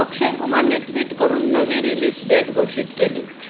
अक्षय कुमारने ट्विट करून नवी रिलीज डेट घोषित केली.